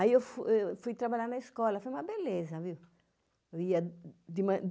Aí eu fui trabalhar na escola, foi uma beleza, viu?